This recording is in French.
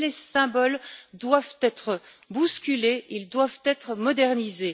Mais les symboles doivent être bousculés, ils doivent être modernisés.